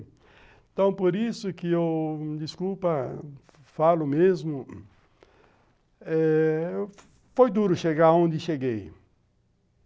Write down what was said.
Então, por isso que eu, desculpa, falo mesmo, eh... foi duro chegar onde cheguei.